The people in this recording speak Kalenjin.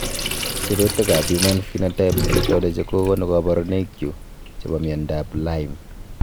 Sirutikab Human Phenotype Ontology kokonu koborunoikchu chebo miondab Lyme.